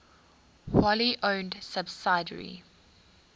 wholly owned subsidiary